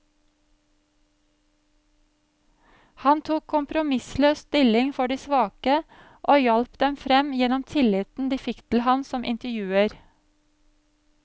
Han tok kompromissløst stilling for de svake, og hjalp dem frem gjennom tilliten de fikk til ham som intervjuer.